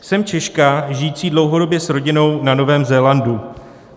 "Jsem Češka žijící dlouhodobě s rodinou na Novém Zélandu.